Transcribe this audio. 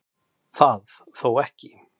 Það þó ekki